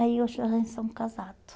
Aí, hoje a gente somos casados.